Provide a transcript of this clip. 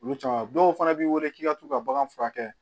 Olu caman dɔw fana b'i wele k'i ka t'u ka bagan furakɛ